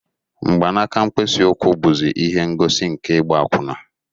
Mgbanaka mkpịsị ụkwụ bụzi ihe ngosi nke ịgba akwụna